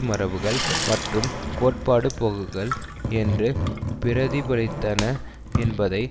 மரபுகள் மற்றும் கோட்பாட்டு போக்குகள் என்று பிரதிபலித்தன என்பதை